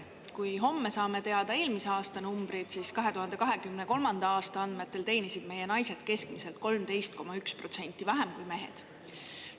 Kui homme saame teada eelmise aasta numbrit, siis 2023. aasta andmetel teenisid meie naised keskmiselt 13,1% vähem kui mehed.